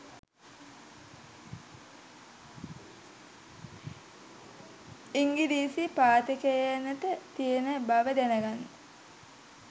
ඉංගිරිසි පාඨකයනට තියෙන බව දැනගන්න